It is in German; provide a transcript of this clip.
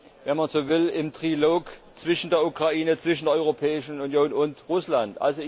wenn man so will, im Trilog zwischen der Ukraine, zwischen der Europäischen Union und Russland.